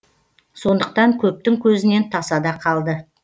сондықтан көптің көзінен тасада қалды